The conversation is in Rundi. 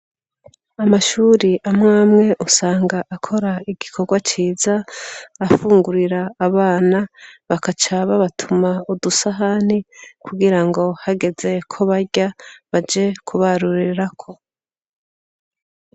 Amashure amw'amwe usanga akora igikorwa ciza, afungurira abana bagaca babatuma udusahani kugira ngo hageze ko barya baje kubarurira ko.